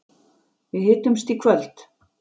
Við hittumst í kvöld.